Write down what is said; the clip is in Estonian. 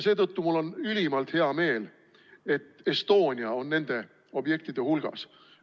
Seetõttu on mul ülimalt hea meel, et Estonia on nende objektide hulgas.